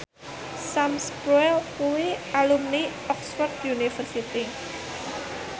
Sam Spruell kuwi alumni Oxford university